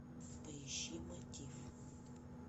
поищи мотив